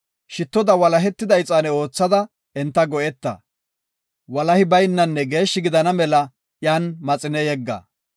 Shittoda walahetida ixaane oothada enta go7eta. Walahi baynanne geeshshi gidana mela iyan maxine yegga.